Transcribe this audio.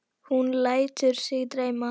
Hún lætur sig dreyma.